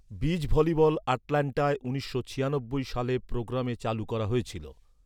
Beach volleyball আটলান্টায় উনিশশো ছিয়ানব্বই সালে প্রোগ্রামে চালু করা হয়েছিল।